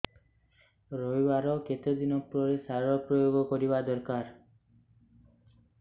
ରୋଈବା ର କେତେ ଦିନ ପରେ ସାର ପ୍ରୋୟାଗ କରିବା ଦରକାର